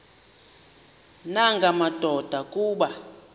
nanga madoda kuba